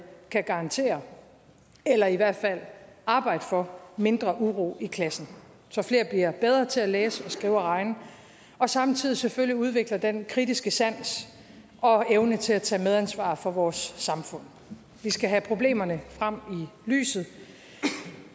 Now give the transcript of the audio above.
kan garantere eller i hvert fald arbejde for mindre uro i klassen så flere bliver bedre til at læse skrive og regne og samtidig selvfølgelig udvikler den kritiske sans og evne til at tage medansvar for vores samfund vi skal have problemerne frem i lyset